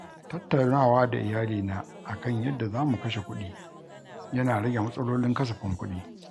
Tattaunawa da iyalina a kan yadda za mu kashe kuɗi yana rage matsalolin kasafin kuɗi.